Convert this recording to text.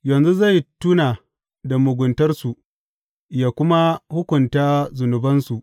Yanzu zai tuna da muguntarsu yă kuma hukunta zunubansu.